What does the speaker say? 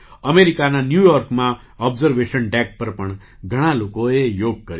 અમેરિકાના ન્યૂ યૉર્કમાં ઑબ્ઝર્વેશન ડૅક પર પણ લોકોએ યોગ કર્યો